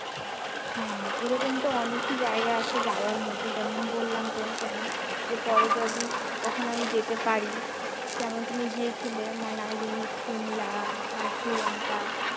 হ্যাঁ, এরকম তো অনেকই জায়গা আছে যাওয়ার মতো যেমন বললাম তোমাকে আমি যে পরে যদি কখনো আমি যেতে পারি, যেমন তুমি গিয়েছিলে মানালি সিমলা আর শ্রীলঙ্কা